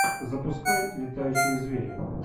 запускай летающие звери